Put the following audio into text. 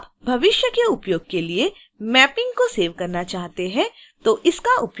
यदि आप भविष्य के उपयोग के लिए mapping को सेव करना चाहते हैं तो इसका उपयोग करें